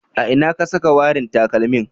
A ina ka saka warin takalmin.